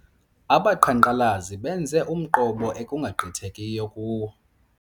Abaqhankqalazi benze umqobo ekungagqithekiyo kuwo.